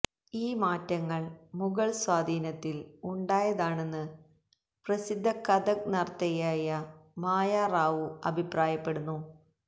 ഈ മാറ്റങ്ങൾ മുഗൾസ്വാധീനത്തിൽ ഉണ്ടായതാണെന്ന് പ്രസിദ്ധ കഥക് നർത്തകിയായ മായാറാവു അഭിപ്രായപ്പെടുന്നു